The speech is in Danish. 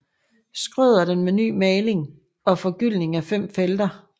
Schrøder den med ny maling og forgyldning af fem felter